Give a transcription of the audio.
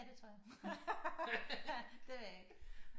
Ja det tror jeg det ved jeg ikke